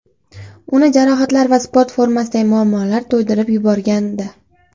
Uni jarohatlar va sport formasidagi muammolar to‘ydirib yuborgandi.